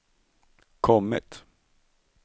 kommit